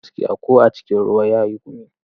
Mara gaskiya ko a cikin ruwa yayi gumi.